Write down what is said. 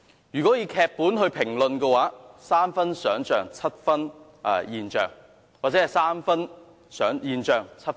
如果視之為劇本的話，是3分現象7分想象。